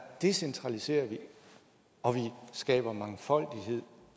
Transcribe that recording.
decentraliserer vi og vi skaber mangfoldighed